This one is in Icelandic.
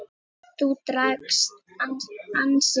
Þú drakkst ansi mikið.